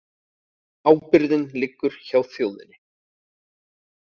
Ábyrgðin liggur hjá þjóðinni